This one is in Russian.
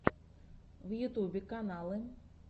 в ютубе каналы